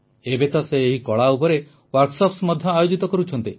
ଏବେ ତ ସେ ଏହି କଳା ଉପରେ କର୍ମଶାଳା ମଧ୍ୟ ଆୟୋଜିତ କରୁଛନ୍ତି